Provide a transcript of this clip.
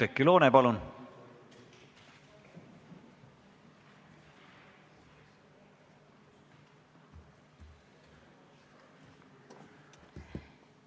Oudekki Loone, palun!